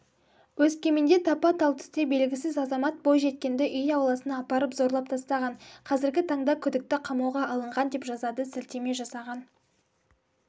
өскеменде тапа-тал түсте белгісіз азамат бойжеткенді үй ауласына апарып зорлап тастаған қазіргі таңда күдікті қамауға алынған деп жазады сілтеме жасаған